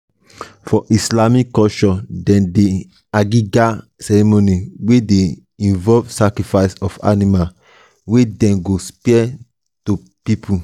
for islamic culture dem get aqiqah ceremony wey de involve sacrifice of animal wey dem go share to pipo